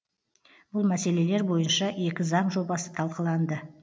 бұл мәселелер бойынша екі заң жобасы талқыланды